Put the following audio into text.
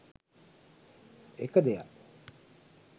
එක දෙයක්